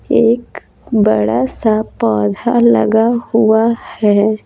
एक बड़ा सा पौधा लगा हुआ है।